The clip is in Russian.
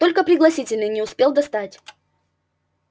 только пригласительные не успел достать